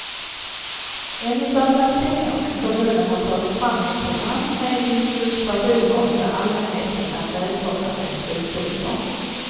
Ännu saknas pengar men kommunen har tagit fram ett program med illustrationer där allmänheten är välkomna med synpunkter.